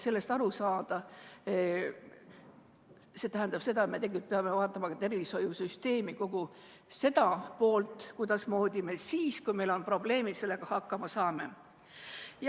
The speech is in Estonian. See tähendab seda, et me peame vaatama ka tervishoiusüsteemi, kogu seda poolt, kuidas me siis, kui meil on probleemid, nendega hakkama saame.